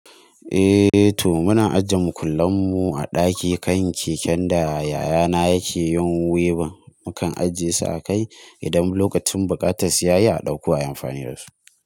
Eh, toh muna ajiyen makullamu a daki kan keken da yayana yake yin weaving. Mukan ajiyesu a kai idan lokacin buƙatar siyayya a ɗauko a yi amfani dasu.